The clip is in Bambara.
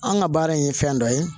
An ka baara in ye fɛn dɔ ye